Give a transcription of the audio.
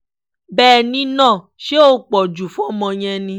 bẹ́ẹ̀ ni náà ṣé ó pọ̀ jù fọ́mọ yẹn ni